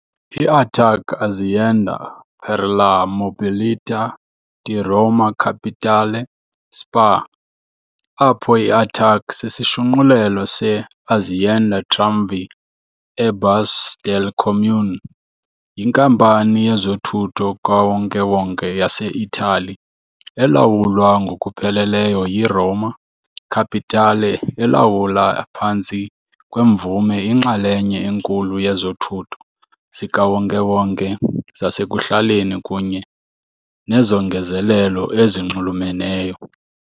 I-ATAC Azienda per la Mobilità di Roma Capitale SpA, apho i-ATAC sisishunqulelo se "-Azienda Tramvie e Bus del Comune", yinkampani yezothutho kawonke-wonke yase-Itali elawulwa ngokupheleleyo yi-Roma Capitale elawula phantsi kwemvume inxalenye enkulu yezothutho zikawonke-wonke zasekuhlaleni kunye nezongezelelo ezinxulumeneyo.